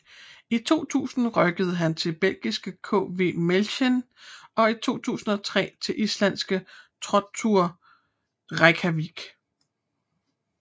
I 2000 rykkede han til belgiske KV Mechelen og i 2003 til islandske Throttur Reykjavik